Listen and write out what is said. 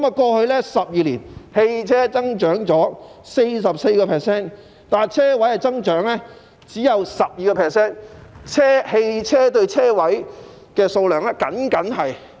過去12年，汽車增長 44%， 但車位的增長只有 12%， 汽車泊車位比例僅僅是 1：1。